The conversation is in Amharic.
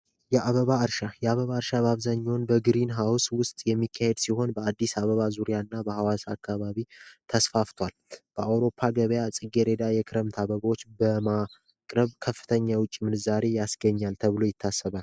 የአበባ እርሻ፡ የአበባ እርሻ አብዛኛውን በግሪንሃውስ ውስጥ የሚካሄድ ሲሆን በአብዛኛው በአዲስ አበባ እና በሀዋሳ አካባቢ ተስፋፍቷል። በአውሮፓ ዙርያ ጽጌሬዳ ወይም የክረምት አበባዎች በማቅረብ ከፍተኛ የውጭ ምንዛሬ ያስገኛል ተብሎ ይታሰባል።